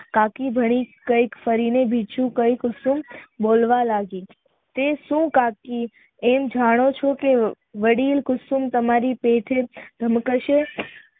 કાકી ભરીને ફરીને બીજું કુસુમ બોલવા લાગી તે સુ કાકી એમ જાણો છો કે વડીલ કુસુમ તમારી પીઠ નિકરશે